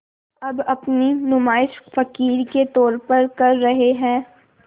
अब अपनी नुमाइश फ़क़ीर के तौर पर कर रहे हैं